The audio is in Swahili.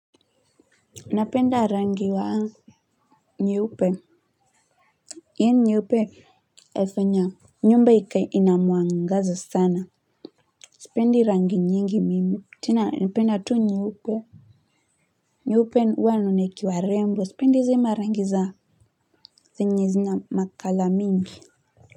Napenda rangi wa nyeupe. Hiyo nyeupe inafanya nyumba ikae ina mwangaza sana. Sipendi rangi nyingi mimi tena napenda tu nyeupe. Nyeupe huwa naona ikiwa rembo. Sipendi hizi marangi za zenye zina macolour mingi.